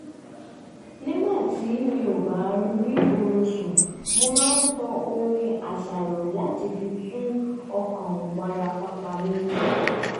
nígbà tí mi ò bá rí oorun sùn mo máa ń tan orin àṣàrò láti fi tu ọkàn wárapàpà mi